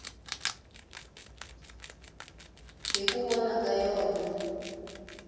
hi ku vona ka yona